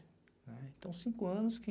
né. Então, cinco anos que...